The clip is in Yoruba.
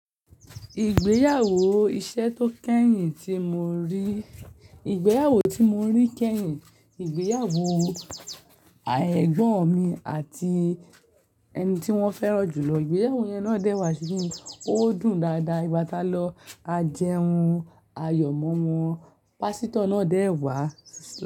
Ìgbéyàwó iṣẹ́ tó kẹ́yìn tí mo rí, ìgbéyàwó tí mo rí kẹ́yìn, ìgbéyàwó ẹ̀gbọ́n mi àti ẹni tí wọ́n fẹ́ràn jùlọ. Ìgbéyàwó yẹn náà dẹ́wà sí mi, ó dùn dáadáa. Ìgbátalọ̀, a jẹun, ayọ̀ mọ́mọ́, pásítọ̀ náà dẹ́wàá.